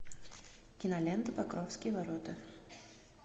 кинолента покровские ворота